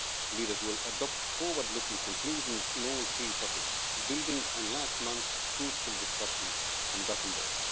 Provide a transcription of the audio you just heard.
Leaders will adopt forward looking conclusions in all three topics, building on last month's fruitful discussions in Gothenburg.